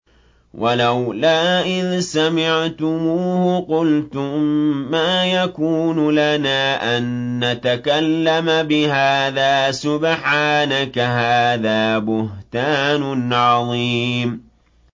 وَلَوْلَا إِذْ سَمِعْتُمُوهُ قُلْتُم مَّا يَكُونُ لَنَا أَن نَّتَكَلَّمَ بِهَٰذَا سُبْحَانَكَ هَٰذَا بُهْتَانٌ عَظِيمٌ